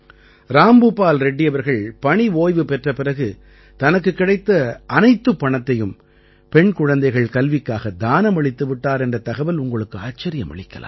ராம்பூபால் ரெட்டி அவர்கள் பணி ஓய்வு பெற்ற பிறகு தனக்குக் கிடைத்த அனைத்துப் பணத்தையும் பெண் குழந்தைகள் கல்விக்காக தானமளித்து விட்டார் என்ற தகவல் உங்களுக்கு ஆச்சரியமளிக்கலாம்